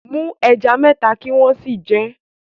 Mú ẹja mẹ́ta kí o sì jẹ wọ́n